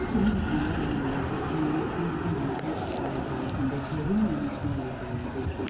Şir kimi insanlar əməliyyatı zamanı biz birlikdə İsrail tarixində görünməmiş nailiyyətlər əldə etdik.